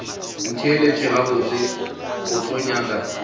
ntheelet gabotse o tlo nyaka